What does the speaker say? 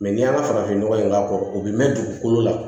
n'i y'a farafin nɔgɔ in k'a kɔrɔ o bɛ mɛn dugukolo la